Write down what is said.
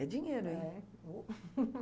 É dinheiro, hein? É, ô!